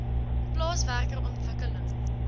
plaas werker ontwikkeling